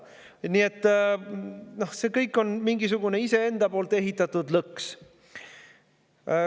Nii et kõik see on mingisugune iseenda ehitatud lõks.